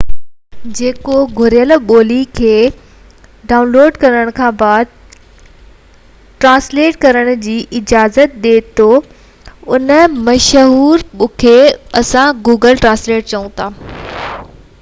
هن قسم جي سڀني مشهور ايپس مان هڪ google translate آهي جيڪو گهربل ٻولي جي ڊيٽا ڊائون لوڊ ڪرڻ کانپوءِ آف لائن ترجمو ڪرڻ جي اجازت ڏي ٿو